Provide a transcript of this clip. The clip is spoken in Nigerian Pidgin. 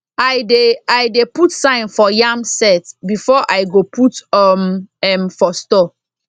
i dey i dey put sign for yam sett before i go put um m for store